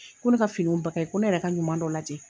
Ko ne ka fini ba kayi, ko ne yɛrɛ ka ɲuman dɔ lajɛ